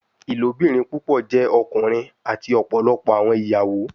Ilobirin pupọ jẹ ọkunrin ati ọpọlọpọ awọn iyawo